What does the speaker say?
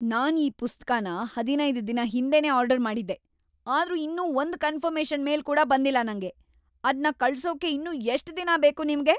ನಾನ್ ಈ ಪುಸ್ತಕನ ಹದಿನೈದ್ ದಿನ ಹಿಂದೆನೇ ಆರ್ಡರ್ ಮಾಡಿದ್ದೆ, ಆದ್ರೂ ಇನ್ನೂ ಒಂದ್ ಕನ್ಫರ್ಮೇಷನ್ ಮೇಲ್ ಕೂಡ ಬಂದಿಲ್ಲ ನಂಗೆ. ಅದ್ನ ಕಳ್ಸೋಕೆ ಇನ್ನೂ ಎಷ್ಟ್‌ ದಿನ ಬೇಕು ನಿಮ್ಗೆ?